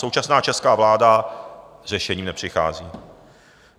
Současná česká vláda s řešením nepřichází.